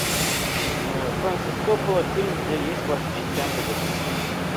фрэнсис коппола фильм где есть классическая музыка